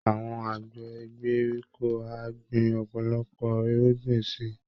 Àwọn àgbẹ̀ ìgbèríko á gbin ọ̀pọ̀lọpọ̀ irúgbìn si